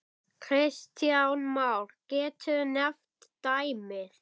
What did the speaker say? Kristján Már: Geturðu nefnt dæmi?